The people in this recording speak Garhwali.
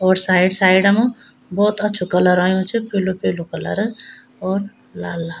और साइड साइड म भोत अच्छू कलर अयूं च पीलू पीलू कलर और लाल लाल ।